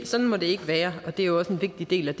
sådan må det ikke være og det er jo også en vigtig del af